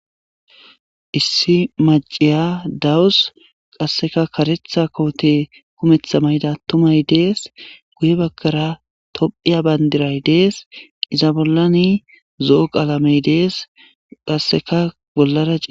issi maciya dawus qasseka karetha koote kumeththa mayda atumay dees guye bagkara tophiya bayndiray dees iza bollani zo7o qaalamey dees qasseka bollara ie